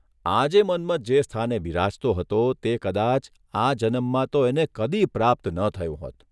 આજે મન્મથ જે સ્થાને બિરાજતો હતો તે કદાચ આ જનમમાં તો એને કદી પ્રાપ્ત ન થયું હોત !